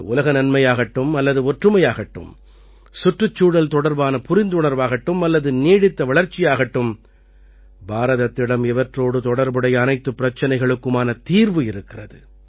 அது உலக நன்மையாகட்டும் அல்லது ஒற்றுமையாகட்டும் சுற்றுச்சூழல் தொடர்பான புரிந்துணர்வாகட்டும் அல்லது நீடித்த வளர்ச்சியாகட்டும் பாரதத்திடம் இவற்றோடு தொடர்புடைய அனைத்துப் பிரச்சனைகளுக்குமான தீர்வு இருக்கிறது